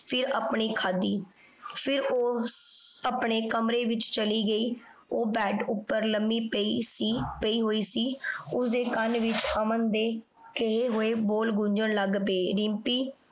ਫੇਰ ਆਪਣੀ ਖਾਦੀ ਫੇਰ ਊ ਅਪਨੇ ਕਮਰੇ ਵਿਚ ਚਲੀ ਗਈ ਊ bed ਉਪਰ ਲੰਬੀ ਪੈ ਸੀ ਪੈ ਹੋਈ ਸੀ ਓਸਦੇ ਕਨ ਵਿਚ ਅਮਨ ਦੇ ਕਹੀ ਹੋਆਯ ਬੋਲ ਗੂਂਜਨ ਲਗ ਪੈ। ਰਿਮ੍ਪੀ